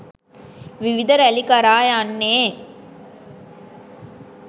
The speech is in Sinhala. විවිධ රැලි කරා යන්නේ